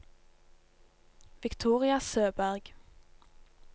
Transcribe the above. Victoria Søberg